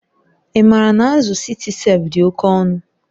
Ị maara na azụ Citicef dị oke ọnụ?